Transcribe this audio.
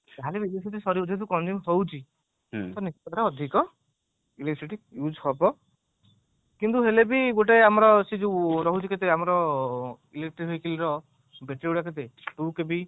ଯାହା ହେଲେ ବି electricity ସରିବ ଯେହେତୁ ଆମେ consume ହଉଛି ତ ଅଧିକ electricity use ହବ କିନ୍ତୁ ହେଲେ ବି ଗୋଟେ ଆମର ରହୁଛି କେତେ ଆମର electric vehicle ର battery ଗୁଡ କେତେ two KV